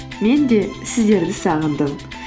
мен де сіздерді сағындым